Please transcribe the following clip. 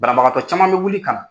Banabagatɔ caman bɛ wuli ka na.